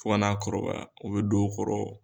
fo ka n'a kɔrɔbaya o bɛ don a kɔrɔ